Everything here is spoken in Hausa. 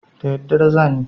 Da daddare za ni.